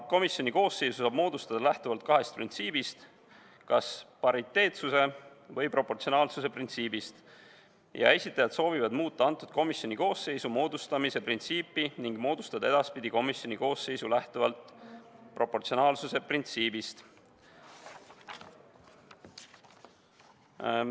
Komisjoni koosseisu saab moodustada lähtuvalt kahest printsiibist, kas pariteetsuse või proportsionaalsuse printsiibist ja esitajad soovivad muuta selle komisjoni koosseisu moodustamise printsiipi ning moodustada edaspidi komisjoni koosseis lähtuvalt proportsionaalsuse printsiibist.